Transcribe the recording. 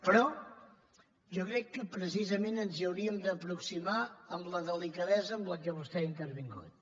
però jo crec que precisament ens hauríem d’aproximar amb la delicadesa amb la qual vostè ha intervingut